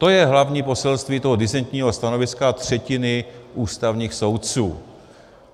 To je hlavní poselství toho disentního stanoviska třetiny ústavních soudců.